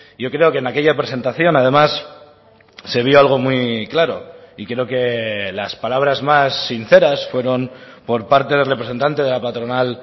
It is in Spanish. yo creo que en aquella presentación además se vio algo muy claro y creo que las palabras más sinceras fueron por parte del representante de la patronal